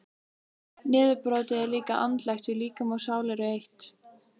Niðurbrotið er líka andlegt því líkami og sál eru eitt.